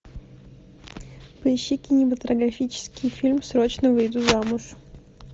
поищи кинематографический фильм срочно выйду замуж